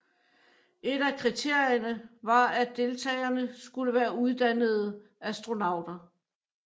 Et af kriterierne var at deltagerne skulle være uddannede astronauter